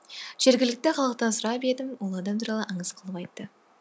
жергілікті халықтан сұрап едім ол адам туралы аңыз қылып айтты